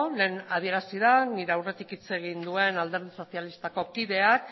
lehen adierazi da nire aurretik hitz egin duen alderdi sozialistako kideak